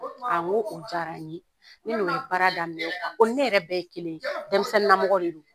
Awɔ o jara n ye ne n'o ye baara daminɛ o ni ne yɛrɛ bɛɛ ye kelen denmisɛnnin namɔgɔ de don